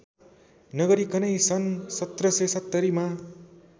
नगरिकनै सन् १७७० मा